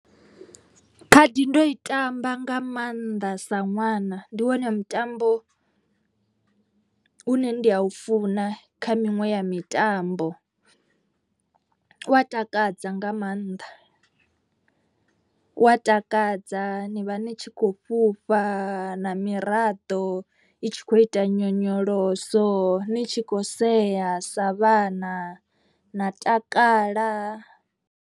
Khadi ndo i tamba nga maanḓa sa ṅwana ndi wone mutambo u ne ndi a u funa kha miṅwe ya mitambo. U wa takadza nga maanḓa wa takadza ni vha ni tshi kho fhufha na miraḓo. I tshi khou ita nyonyoloso ni tshi khou sea sa vhana na takala.